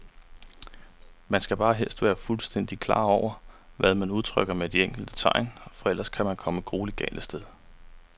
Man skal bare helst være fuldstændigt klar over, hvad man udtrykker med de enkelte tegn, for ellers kan man komme grueligt galt af sted.